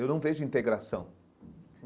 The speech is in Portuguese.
Eu não vejo integração.